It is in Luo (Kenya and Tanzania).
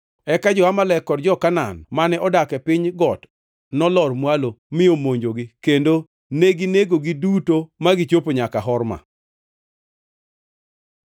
Eka jo-Amalek kod jo-Kanaan mane odak e piny got nolor mwalo mi omonjogi kendo neginegogi duto ma gichopo nyaka Horma.